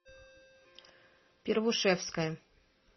первушевская